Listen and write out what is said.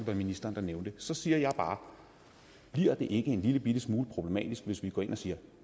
ministeren nævnte så siger jeg bare bliver det ikke en lillebitte smule problematisk hvis vi går ind og siger